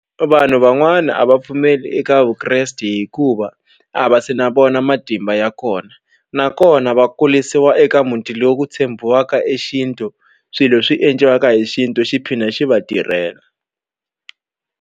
Vanhu van'wana a va pfumeli eka vukreste hikuva a va se na vona matimba ya kona nakona va kurisiwa eka muti lowu ku tshembiwaka e xintu swilo swi endliwaka hi xintu xiphinda xi va tirhela.